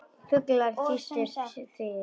Fuglar tístu sem fyrr.